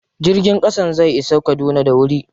Jirgin ƙasan zai isa Kaduna da wuri.